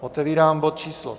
Otevírám bod číslo